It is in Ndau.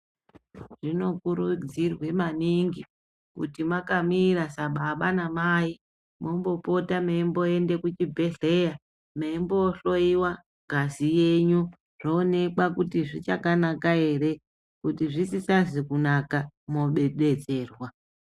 Zvinokurudzirwe maningi kuti makamira sababa namai mombopota meimboende kuchibhehleya meimbohloyiwa ngazi yenyu zvoonekwa kuti zvichakanaka ere, kuti zvisisazi kunaka modetserwa.